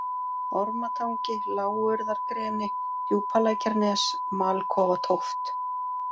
Ormatangi, Lágurðargreni, Djúpalækjarnes, Malkofatóft